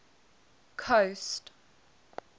coast